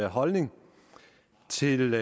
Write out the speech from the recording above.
holdning til